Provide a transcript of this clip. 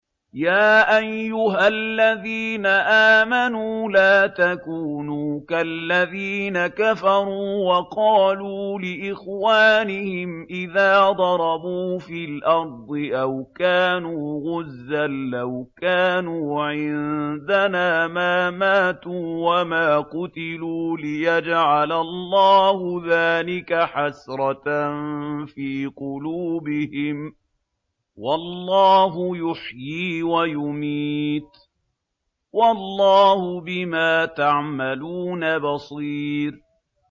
يَا أَيُّهَا الَّذِينَ آمَنُوا لَا تَكُونُوا كَالَّذِينَ كَفَرُوا وَقَالُوا لِإِخْوَانِهِمْ إِذَا ضَرَبُوا فِي الْأَرْضِ أَوْ كَانُوا غُزًّى لَّوْ كَانُوا عِندَنَا مَا مَاتُوا وَمَا قُتِلُوا لِيَجْعَلَ اللَّهُ ذَٰلِكَ حَسْرَةً فِي قُلُوبِهِمْ ۗ وَاللَّهُ يُحْيِي وَيُمِيتُ ۗ وَاللَّهُ بِمَا تَعْمَلُونَ بَصِيرٌ